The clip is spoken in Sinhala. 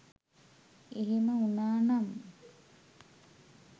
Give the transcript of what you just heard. එහෙම වුනා නම්